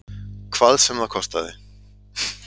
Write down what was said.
Hvað sem það kostaði.